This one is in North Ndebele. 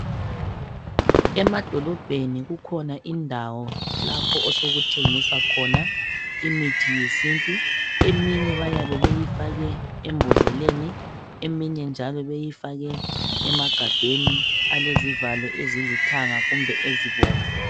Emadolobheni kukhona indawo lapho osokuthengiswa khona imithi yesintu, eminye bayabe beyifake embodleleni , eminye njalo beyifake emagabheni alezi valo ezilithanga kumbe ezibomvu.